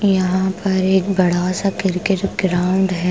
यहां पर एक बड़ा सा क्रिकेट ग्राउंड हैं।